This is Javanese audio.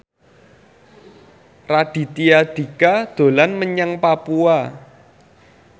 Raditya Dika dolan menyang Papua